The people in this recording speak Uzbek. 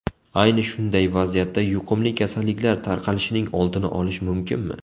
Ayni shunday vaziyatda yuqumli kasalliklar tarqalishining oldini olish mumkinmi?